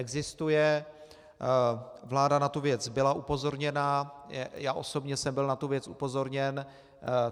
Existuje, vláda na tu věc byla upozorněna, já osobně jsem byl na tu věc upozorněn.